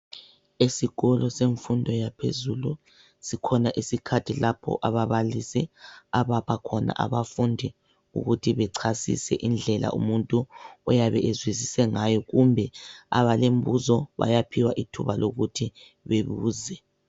Esikolo semfundo yaphezulu, sikhona isikhathi lapho ababalisi abapha khona abafundi ukuthi bechasise indlela umuntu oyabe ezwisise ngayo, kumbe abalembuzo bayaphiwa ithuba lokuthi bebuze.